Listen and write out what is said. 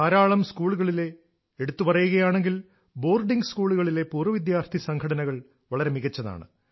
ധാരാളം സ്കൂളുകളിലെ എടുത്തു പറയുകയാണെങ്കിൽ ബോർഡിംഗ് സ്കൂളുകളിലെ പൂർവ വിദ്യാർഥി സംഘടനകൾ വളരെ മികച്ചതാണ്